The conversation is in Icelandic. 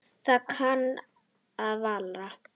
Ég kann það varla.